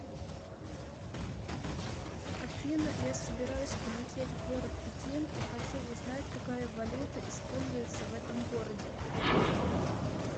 афина я собираюсь полететь в город пекин и хочу узнать какая валюта используется в этом городе